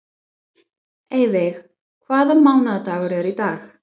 Eyveig, hvaða mánaðardagur er í dag?